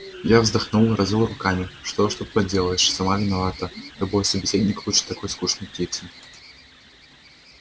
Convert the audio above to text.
я вздохнул развёл руками что уж тут поделаешь сама виновата любой собеседник лучше такой скучной птицы